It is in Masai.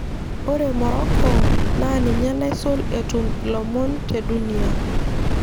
Ore Morocco naa ninye naisul etum ilomon te dunia.